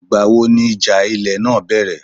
Ìgbà wo ni ìjà ilẹ̀ náà bẹ̀rẹ̀?